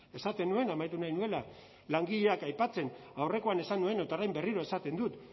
esaten nuen amaitu nahi nuela langileak aipatzen aurrekoan esan nuen eta orain berriro esaten dut